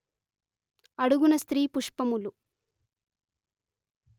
అడుగున స్త్రీ పుష్పములు